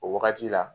O wagati la